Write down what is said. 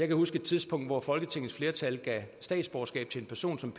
kan huske et tidspunkt hvor folketingets flertal gav statsborgerskab til en person som